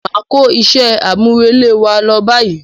Máa kó iṣẹ́ àmúrelé wa lọ báyìí.